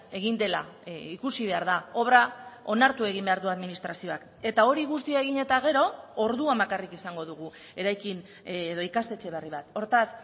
egin dela ikusi behar da obra onartu egin behar du administrazioak eta hori guztia egin eta gero orduan bakarrik izango dugu eraikin edo ikastetxe berri bat hortaz